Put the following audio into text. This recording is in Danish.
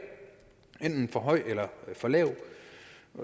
enten for højt eller for lavt